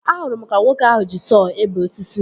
Ahụrụ m ka nwoke ahụ ji sọọ ebe osisi